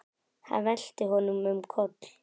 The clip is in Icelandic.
Hann velti honum um koll.